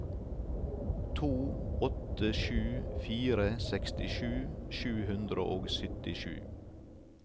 to åtte sju fire sekstisju sju hundre og syttisju